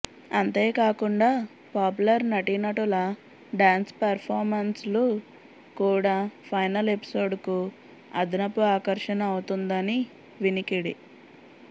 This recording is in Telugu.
అంతేకాకుండా పాపులర్ నటీనటుల డాన్స్ పెర్ఫార్మన్స్లు కూడా ఫైనల్ ఎపిసోడ్కు అదనపు ఆకర్షణ అవుతుందని వినికిడి